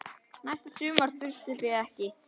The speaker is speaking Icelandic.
Næsta sumar þurfið þið ekki.